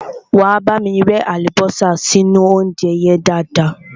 Wá bámi rẹ́ àlùbọ́sà sínú óúnjẹ yẹn dáadáa.